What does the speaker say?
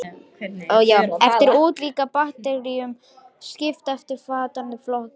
Eftir útliti er bakteríum skipt í eftirfarandi flokka